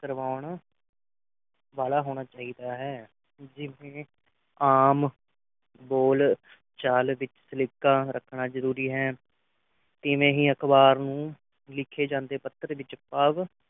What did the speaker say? ਕਰਵਾਉਣ ਵਾਲਾ ਹੋਣਾ ਚਾਹੀਦਾ ਹੈ ਜਿਵੇਂ ਆਮ ਬੋਲਚਾਲ ਵਿਚ ਸਲੀਕਾ ਰੱਖਣਾ ਜ਼ਰੂਰੀ ਹੈ ਤੇ ਨਹੀਂ ਅਖਬਾਰ ਨੂੰ ਲਿਖੇ ਜਾਂਦੇ ਪਕੜ ਵਿਚ ਪਾਵ